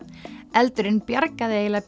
eldurinn bjargaði eiginlega